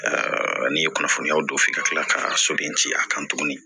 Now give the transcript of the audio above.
n'i ye kunnafoniyaw don f'i ka kila ka soden ci a kan tuguni